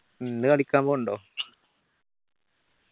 ഇന്ന് കളിക്കാൻ പോണുണ്ടോ